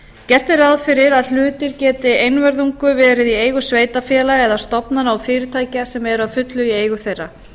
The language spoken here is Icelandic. gert er ráð fyrir að hlutir geti einvörðungu verið í eigu sveitarfélaga eða stofnana og fyrirtækja sem eru að fullu í eigu þeirra